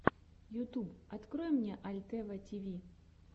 ютуб открой мне альтева тиви